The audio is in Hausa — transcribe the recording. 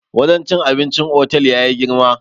wajen cin abincin otal ya yi girma